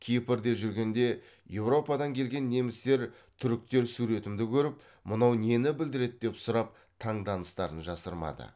кипрде жүргенде еуропадан келген немістер түріктер суреттерімді көріп мынау нені білдіреді деп сұрап таңданыстарын жасырмады